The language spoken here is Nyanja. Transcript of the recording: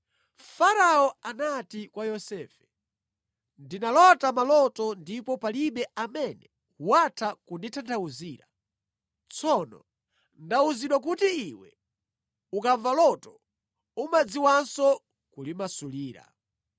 Farao anati kwa Yosefe, “Ndinalota maloto ndipo palibe amene watha kunditanthauzira. Tsono ndawuzidwa kuti iwe ukamva loto umadziwanso kulimasulira.”